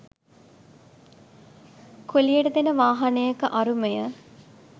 කුලියට දෙන වාහනයක අරුමය.